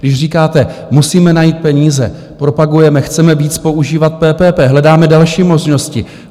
Když říkáte: Musíme najít peníze, propagujeme, chceme víc používat PPP, hledáme další možnosti...